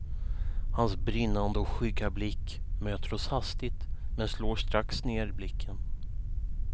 Hans brinnande och skygga blick möter oss hastigt men slår strax ner blicken.